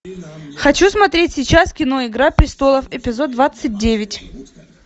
хочу смотреть сейчас кино игра престолов эпизод двадцать девять